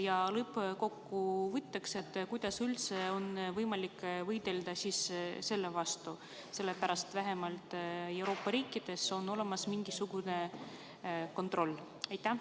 Ja kuidas üldse lõppkokkuvõttes on võimalik selle vastu võidelda, sellepärast et vähemalt Euroopa riikides on olemas mingisugune kontroll?